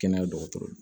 Kɛnɛya dɔgɔtɔrɔ